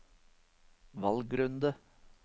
valgrunde